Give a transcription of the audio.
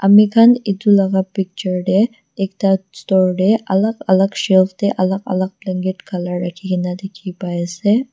Ami khan etu laga picture dae ekta book store dae alak alak shelf dae alak alak blanket colour rakhina dekhe pai ase.